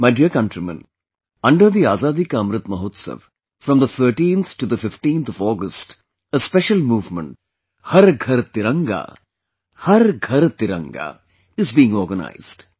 My dear countrymen, under the Azadi ka Amrit Mahotsav, from the 13th to the 15th of August, a special movement 'Har Ghar Tiranga Har Ghar Tiranga' is being organized